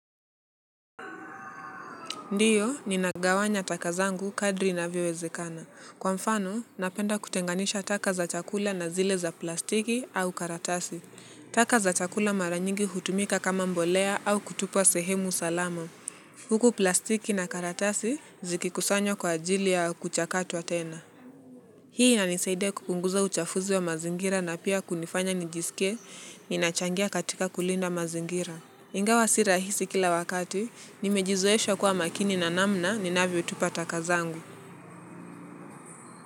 Ndiyo, ninagawanya taka zangu kadri inavyowezekana. Kwa mfano, napenda kutenganisha taka za chakula na zile za plastiki au karatasi. Taka za chakula mara nyingi hutumika kama mbolea au kutupwa sehemu salama. Huku plastiki na karatasi zikikusanywa kwa ajili au kuchakatwa tena. Hii inanisaidia kupunguza uchafuzi wa mazingira na pia kunifanya nijisike, ninachangia katika kulinda mazingira. Ingawa si rahisi kila wakati, nimejizoesha kuwa makini na namna ni navyo tupa taka zangu.